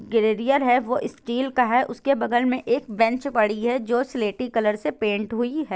ग्रेडियर है वो स्टील का है उसके बगल में एक बेंच पड़ी है जो सिलेटी कलर से पेंट हुई है।